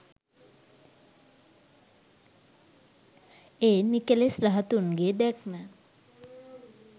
ඒ නිකෙලෙස් රහතුන්ගේ දැක්ම